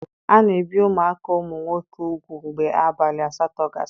A na-ebi ụmụaka ụmụ nwoke ugwu mgbe abalị asatọ gasịrị.